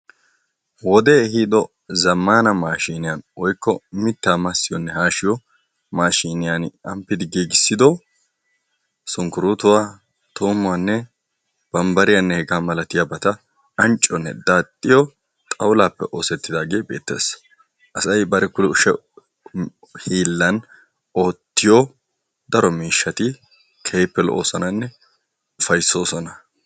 Wodde ehiddo zammanna maashshiniyaan woykko mittaa massiyonne haashshiyo maashshiniyani amppidi giigissiddo sunkkuruttuwaa tuumuwaanne banbbariyanne hegetta malatiyabatta ancciyonne daaxiyo xawullappe oosettidagge beettes. Asay bari kushshe hillan oottiyo daro mishshat keehippe lo”ossonanne upayssosona.